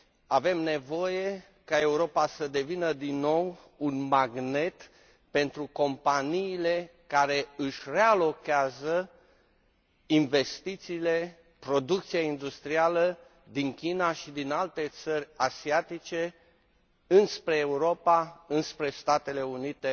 Avem nevoie ca Europa să devină din nou un magnet pentru companiile care își relocalizează investițiile, producția industrială din China și din alte țări asiatice înspre Europa, înspre Statele Unite